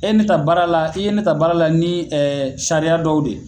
E ne ta baara la i ye ne ta baara la ni ɛ sariya dɔw de ye